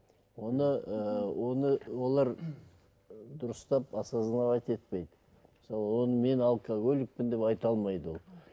оны ыыы оны олар дұрыстап осозновать етпейді мысалы ол мен алкоголикпін деп айта алмайды ол